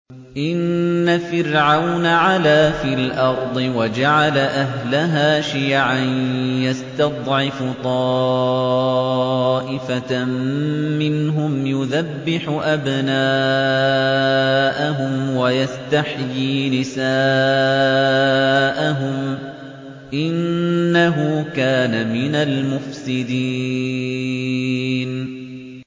إِنَّ فِرْعَوْنَ عَلَا فِي الْأَرْضِ وَجَعَلَ أَهْلَهَا شِيَعًا يَسْتَضْعِفُ طَائِفَةً مِّنْهُمْ يُذَبِّحُ أَبْنَاءَهُمْ وَيَسْتَحْيِي نِسَاءَهُمْ ۚ إِنَّهُ كَانَ مِنَ الْمُفْسِدِينَ